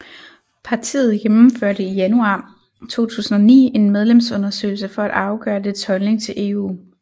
Partiet gennemførte i januar 2009 en medlemsundersøgelse for at afgøre dets holdning til EU